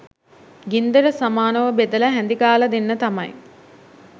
ගින්දර සමානව බෙදලා හැඳි ගාලා දෙන්න තමයි.